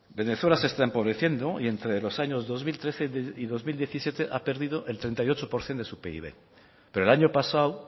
venezuela se está empobreciendo y entre los años dos mil trece y dos mil diecisiete ha perdido el treinta y ocho por ciento de su pib pero el año pasado